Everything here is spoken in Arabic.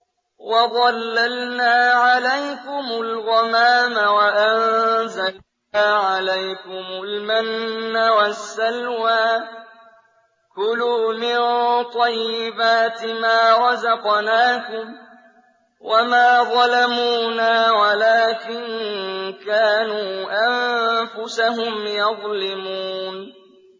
وَظَلَّلْنَا عَلَيْكُمُ الْغَمَامَ وَأَنزَلْنَا عَلَيْكُمُ الْمَنَّ وَالسَّلْوَىٰ ۖ كُلُوا مِن طَيِّبَاتِ مَا رَزَقْنَاكُمْ ۖ وَمَا ظَلَمُونَا وَلَٰكِن كَانُوا أَنفُسَهُمْ يَظْلِمُونَ